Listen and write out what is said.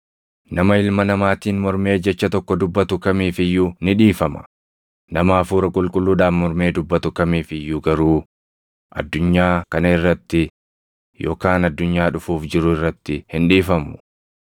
Nama Ilma Namaatiin mormee jecha tokko dubbatu kamiif iyyuu ni dhiifama; nama Hafuura Qulqulluudhaan mormee dubbatu kamiif iyyuu garuu, addunyaa kana irratti yookaan addunyaa dhufuuf jiru irratti hin dhiifamu.